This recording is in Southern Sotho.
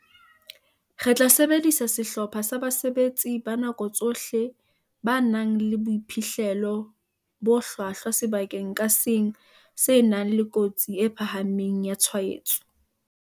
"Re tla sebedisa sehlopha sa basebetsi ba nako tsohle ba nang le boiphihlelo bo hlwahlwa sebakeng ka seng se nang le kotsi e phahameng ya tshwaetso."